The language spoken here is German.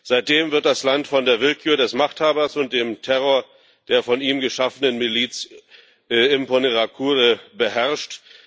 Seitdem wird das Land von der Willkür des Machthabers und dem Terror der von ihm geschaffenen Miliz Imbonerakure beherrscht.